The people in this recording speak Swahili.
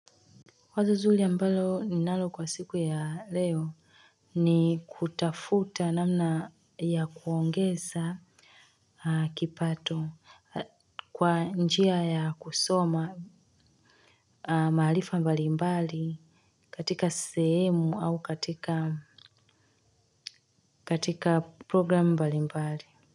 Wazo zuri ambalo ninalo kwa siku ya leo ni kutafuta namna ya kuongeza kipato kwa njia ya kusoma maarifa mbalimbali katika sehemu au katika program mbalimbali.